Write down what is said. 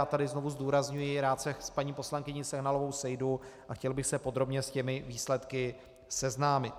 Já tady znovu zdůrazňuji, rád se s paní poslankyní Sehnalovou sejdu a chtěl bych se podrobně s těmi výsledky seznámit.